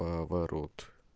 поворот